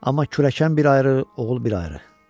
Amma kürəkən bir ayrı, oğul bir ayrı.